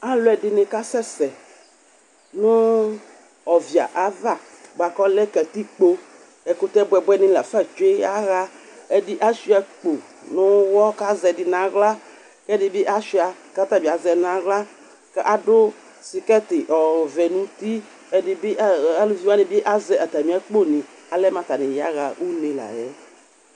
alɔdini ka sɛ sɛ nu ɔvia bua ku ɔlɛ katikpo ɛkutɛ buɛbuɛ dini la fa tshue yaɣa ɛɖi ayua akpo nu uɣɔ ku aʒɛ ɛdinu nu aɣla ku ɛdibi ayua ku ata bi aʒɛ ɖi nu aɣla ku adu sikɛti ɔvɛ nu uti aluvi wa ni bi aʒɛ atamia akpo ni ɔlɛmu atani ya ɣa une la yɛ